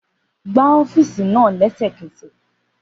Gba ọ́fíìsì náà lẹ́sẹ̀kẹsẹ̀